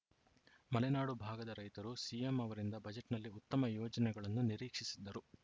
ಮಲೆನಾಡು ಭಾಗದ ರೈತರು ಸಿಎಂ ಅವರಿಂದ ಬಜೆಟ್‌ನಲ್ಲಿ ಉತ್ತಮ ಯೋಜನೆಗಳನ್ನು ನಿರೀಕ್ಷಿಸಿದ್ದರು